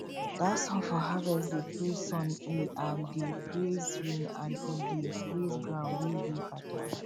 that song for harvest dey praise sun e um dey praise rain and e dey praise ground wey dey fertile